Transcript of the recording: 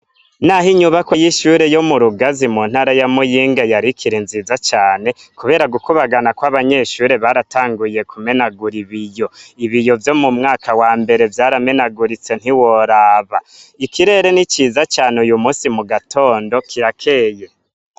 N’aho inyubakwa y’ishure yo mu Rugazi mu ntara ya muyinga yarikiri nziza cane kubera gukubagana kw’abanyeshure baratanguye kumenagura ibiyo , ibiyo vyo mu mwaka wa mbere vyaramenaguritse ntiworaba , ikirere ni ciza cane uyu musi mugatondo kirakeye.